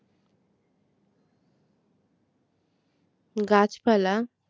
গাছপালা